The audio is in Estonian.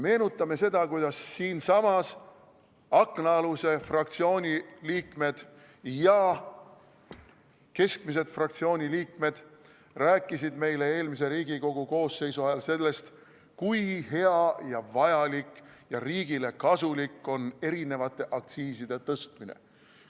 Meenutame seda, kuidas siinsamas aknaaluse fraktsiooni liikmed ja keskmised fraktsiooniliikmed rääkisid meile eelmise Riigikogu koosseisu ajal sellest, kui hea ja vajalik ning riigile kasulik on eri aktsiiside tõstmine.